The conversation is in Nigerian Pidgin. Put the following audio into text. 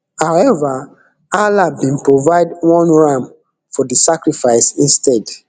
however allah bin provide one ram for di sacrifice instead